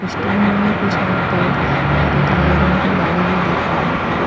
में कुछ और पेड़ और एक लाल रंग की गाड़ी भी दिख रही है।